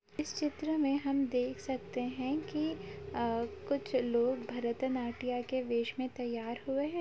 इस चित्र में हम देख सकते हैं की आ कुछ लोग भरतनाट्य के वेस में तैयार हए हैं।